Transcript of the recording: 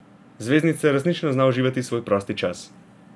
Zvezdnica resnično zna uživati svoj prosti čas.